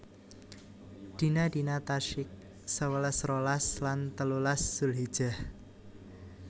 Dina dina Tasyrik sewelas rolas lan telulas Zulhijjah